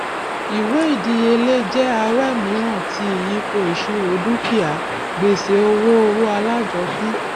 ìwé ìdíyelé jẹ awẹ mìíràn ti ìyípo ìṣirò dúkìá gbèsè owó owó alájọpín